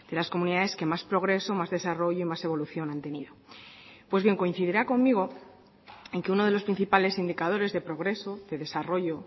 las comunidades que más progreso más desarrollo más evolución han tenido pues bien coincidirá conmigo en que uno de los principales indicadores de progreso de desarrollo